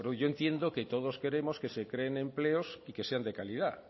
yo entiendo todos queremos que se creen empleos y que sean de calidad